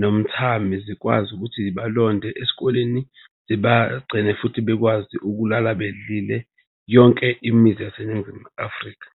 nomthami zikwazi ukuthi zibalonde. Esikoleni zibagcine futhi bekwazi ukulala bedlile, yonke imizi yaseNingizimu Afrika.